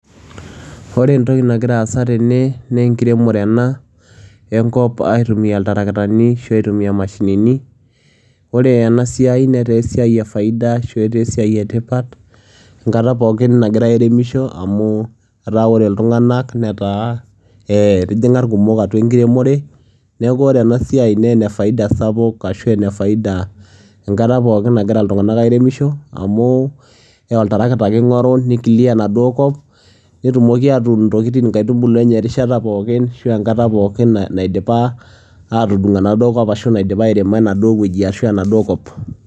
ore entoki nagira aasa tene naa enkiremore ena enkop aitumia iltarakitani ashu aitumia imaashinini. ore ena siai netaa esiai efaia ashu etaa esiai etipat enkata pookin nagirae airemisho amu, etaa ore iltunganak netaa etijinga irkumok atua enkiremore. neeku ore ena siai naa ene faida sapuk. ashu ene faida enkata pookin nagira iltunganak airemisho amu, oltarakita ake ingoru niki clear inaduoo kop netumoki atuun inkaitubulu enye enkata pookin aashu erishata pookin naidipa aatudung ashu naidipa airemo enaduoo wueji ashu enaduoo kop.